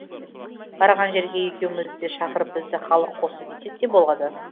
барған жерге екеумізді де шақырып бізді халық қосты десек те болады